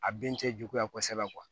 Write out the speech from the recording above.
A bin tɛ juguya kosɛbɛ kuwa